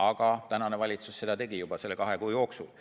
Aga tänane valitsus seda tegi juba selle kahe kuu jooksul.